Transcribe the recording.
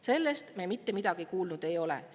Sellest me mitte midagi kuulnud ei ole.